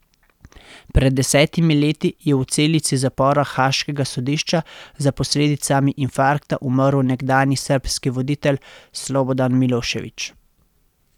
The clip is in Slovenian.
Pred desetimi leti je v celici zapora haaškega sodišča za posledicami infarkta umrl nekdanji srbski voditelj Slobodan Milošević.